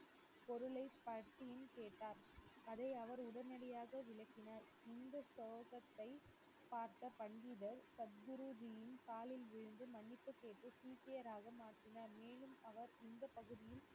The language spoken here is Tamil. பொருளை பற்றியும் கேட்டார் அதை அவர் உடனடியாக விளக்கினர், இந்த சோகத்தை பார்த்த பண்டிதர் சத்குருஜியின் காலில் விழுந்து மன்னிப்பு கேட்டு சீக்கியராக மாறினார் மேலும் அவர் இந்த பகுதியில்